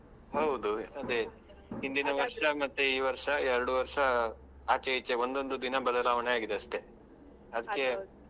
ಹೌದು. ಅದೆ ಮತ್ತೆ ಈ ವರ್ಷ ಎರಡು ವರ್ಷ ಆಚೆ ಈಚೆ ಒಂದೊಂದು ದಿನ ಬದಲಾವಣೆ ಆಗಿದೆ ಅಷ್ಟೆ .